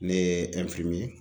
Ne ye